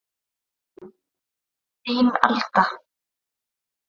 Þín Alda